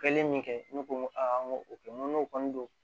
Kɛlen min kɛ ne ko aa n ko o kɛ n ko n'o kɔni don